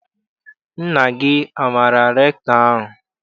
Nna gị amaara rektọ ahụ?